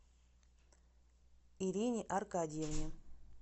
ирине аркадьевне